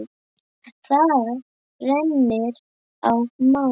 Það reynir á mann!